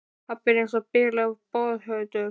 Pabbi er eins og bilaður boðháttur.